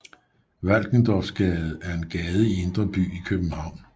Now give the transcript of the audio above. Valkendorfsgade er en gade i indre by i København